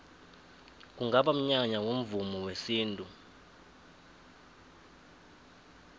kungaba mnyanya womvumo wesintu